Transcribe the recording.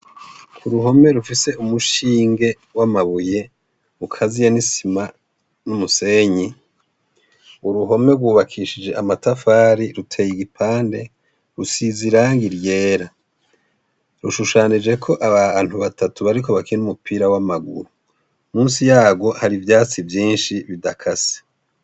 Uruhome rufise umushinge w'amabuye ukaziye n'isima n'umusenyi, uruhome gubakishije amatafari ruteye igipande rusize irangi ryera, rushushanijeko abantu batatu bariko bakina umupira w'amaguru ,musi yagwo hari ivyatsi vyinshi bidakase.